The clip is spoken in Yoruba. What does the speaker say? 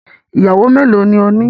Iyàwọ́ mẹ́lọ̀ ni òní?